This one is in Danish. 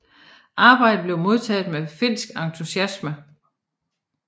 Arbejdet blev modtaget med finsk entusiasme